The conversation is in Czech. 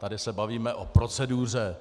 Tady se bavíme o proceduře